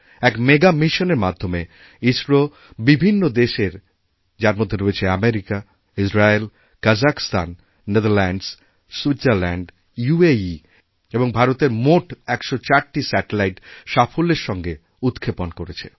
এক মেগামিশনের মাধ্যমে ইসরো বিভিন্ন দেশের যার মধ্যে রয়েছে America Israel Kazakhstan Netherlands Switzerland UAE এবং ভারতের মোট ১০৪টি স্যাটেলাইট সাফল্যেরসঙ্গে উৎক্ষেপণ করেছে